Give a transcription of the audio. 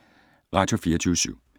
Radio24syv